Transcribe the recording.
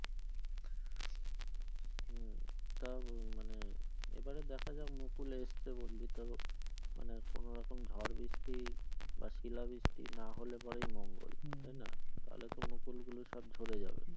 তা মানে এবারে দেখা যাক মুকুল এসছে বললি তো মানে কোন রকম ঝড় বৃষ্টি বা শিলা বৃষ্টি নাহলে পরে মঙ্গল তাইনা তাহলে তো মুকুলগুলো সব ঝড়ে যাবে।